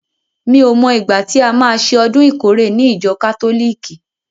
Mi o mo ìgbà tí a má ṣe ọdún ìkórè ní ìjọ kátólìkì?